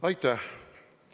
Aitäh!